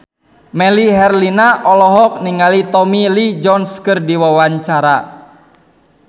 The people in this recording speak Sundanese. Melly Herlina olohok ningali Tommy Lee Jones keur diwawancara